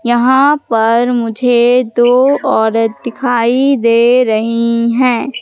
यहां पर मुझे दो औरत दिखाई दे रहीं है।